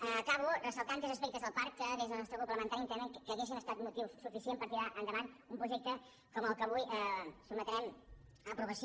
acabo ressaltant tres aspectes del parc que des del nos·tre grup parlamentari entenem que haurien estat motiu suficient per tirar endavant un projecte com el que avui sotmetrem a aprovació